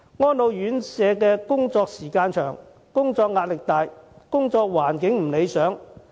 安老院舍工作時間長，工作壓力大，工作環境不理想。